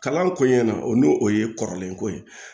Kalan kɔɲɔn na o n'o o ye kɔrɔlen ko ye